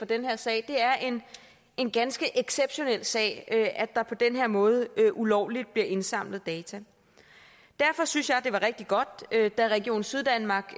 den her sag det er en ganske exceptionel sag at der på den her måde ulovligt bliver indsamlet data derfor synes jeg det var rigtig godt da region syddanmark